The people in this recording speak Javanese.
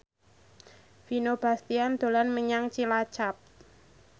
Vino Bastian dolan menyang Cilacap